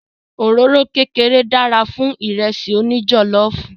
Òróró kékeré dára fún Ìrẹ́sì òní jọ̀lọ́ọ̀fù